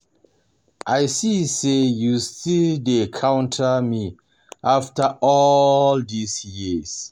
I see say you still dey still dey counter me after all dis years